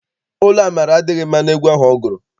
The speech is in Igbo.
Olu Amara adịghị mma n'egwu ahụ ọ gụrụ.